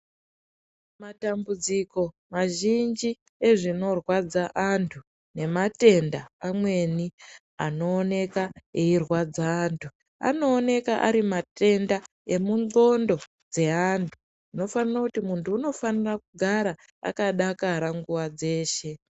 Matambudziko mazhinji ezvinorwadza antu nematenda anooneka eirwadza antu anooneka ari matenda emundxondo dzeantu munofanire kuti munhu unofanire kugara akadakara nguwa dzeshe.